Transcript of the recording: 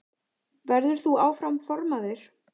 Verður þú áfram formaður?